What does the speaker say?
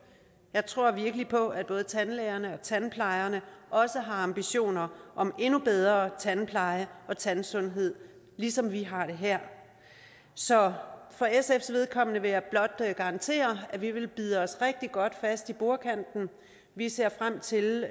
jeg tror virkelig på at både tandlægerne og tandplejerne også har ambitioner om endnu bedre tandpleje og tandsundhed ligesom vi har det her så for sfs vedkommende vil jeg blot garantere at vi vil bide os rigtig godt fast i bordkanten vi ser frem til